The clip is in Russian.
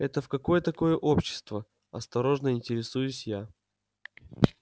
это в какое такое общество осторожно интересуюсь я